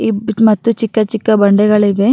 ಈ ಮೆಟ್ಟಲಿನ ಬಣ್ಣ ಕೇಸರಿಯ ಬಣ್ಣದಾಗಿದೆ.